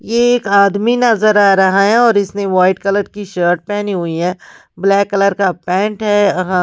एक आदमी नजर आ रहा हैऔर इसने वाइट कलर की शर्ट पहनी हुई है ब्लैक कलर का पेंट है।